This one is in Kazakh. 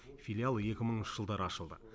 филиал екі мыңыншы жылдары ашылды